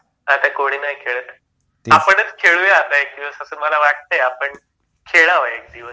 आता कोणी नाही खेळत आपण खेळूया एक दिवस असं मला वाटत आपण, खेळावं एक दिवस.